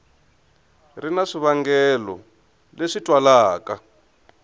ri na swivangelo leswi twalaka